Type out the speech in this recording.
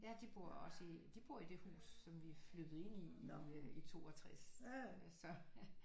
Ja de bor også i de bor i det hus som vi flyttede ind i i 62 så